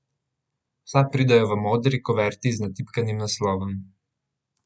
Vsa pridejo v modri kuverti z natipkanim naslovom.